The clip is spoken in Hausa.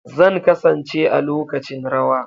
Zan kasance a lokacin rawa.